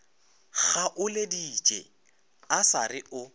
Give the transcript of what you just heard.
kgaoleditše a sa re o